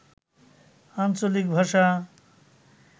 আঞ্চলিক ভাষা